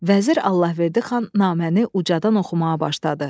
Vəzir Allahverdi xan naməni ucadan oxumağa başladı.